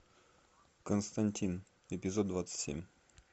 константин эпизод двадцать семь